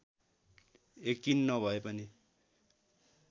यकिन नभए पनि